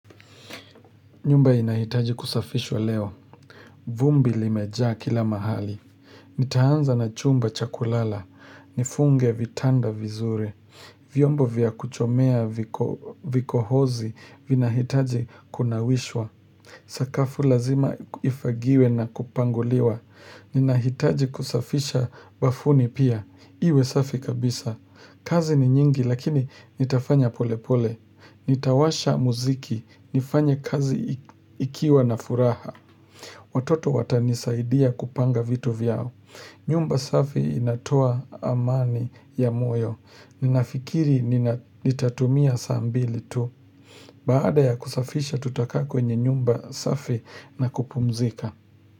Nyumba inahitaji kusafishwa leo, vumbi limejaa kila mahali Nitaanza na chumba cha kulala, nifunge vitanda vizuri, vyombo vya kuchomea vikohozi vinahitaji kunawishwa Sakafu lazima ifagiwe na kupanguliwa, ninahitaji kusafisha bafuni pia, iwe safi kabisa kazi ni nyingi lakini nitafanya pole pole. Nitawasha muziki, nifanya kazi ikiwa na furaha. Watoto watanisaidia kupanga vitu vyao. Nyumba safi inatoa amani ya moyo. Ninafikiri nitatumia saa mbili tu. Baada ya kusafisha tutakaa kwenye nyumba safi na kupumzika.